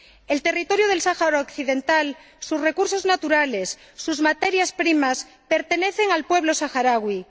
El territorio del Sáhara Occidental, sus recursos naturales, sus materias primas, pertenecen al pueblo saharaui.